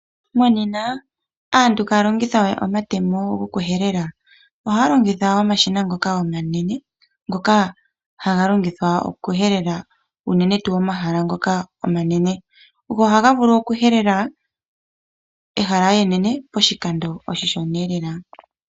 Monena antu iha ya longitha we omatemo gokuhelela. Oha ya longitha omashina ngoka omanene ngoka haga longithwa okuhelela unene tuu omahala ngoka omanene. Go oha ga vulu okuhelela ehala enene poshikando oshishona lela.